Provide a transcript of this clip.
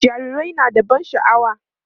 jarirai na da ban sha'awa